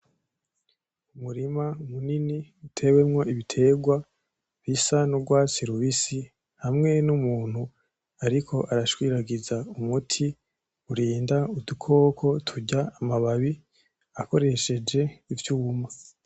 Umurima munini utewemo ibitegwa rusa nkurwatsi rubisi hamwe numuntu ariko arashwiragiza umuti urinda udukoko turya amababi akoresheje ivyuma.